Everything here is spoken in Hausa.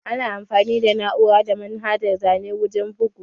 Ana amfani da na'ura da manhajar zane wurin bugu